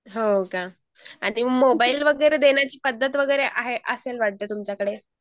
हो का? आणि मोबाईल वगैर देण्याची पद्धत वगैरा आहे असेल वाटतंय तुमच्याकडे